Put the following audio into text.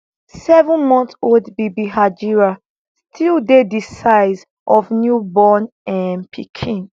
sevenmonthold bibi hajira stll dey di size of new born um pikin